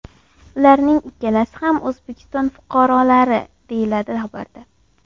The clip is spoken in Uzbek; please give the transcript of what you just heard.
Ularning ikkalasi ham O‘zbekiston fuqarolari”, deyiladi xabarda.